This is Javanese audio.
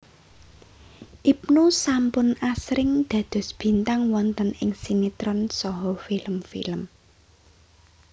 Ibnu sampun asring dados bintang wonten ing sinétron saha film film